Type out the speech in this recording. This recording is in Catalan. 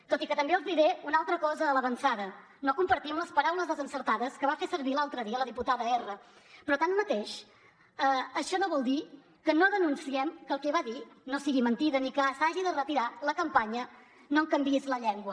tot i que també els diré una altra cosa a l’avançada no compartim les paraules desencertades que va fer servir l’altre dia la diputada erra però tanmateix això no vol dir que no denunciem que el que va dir no sigui mentida ni que s’hagi de retirar la campanya no em canviïs la llengua